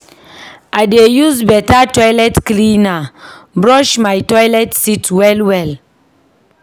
I dey use beta toilet cleaner brush my toilet seat well-well.